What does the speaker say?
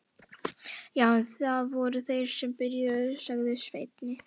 Já en, það voru þeir sem byrjuðu, sagði Svenni.